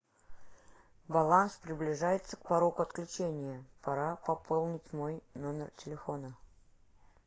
баланс приближается к порогу отключения пора пополнить мой номер телефона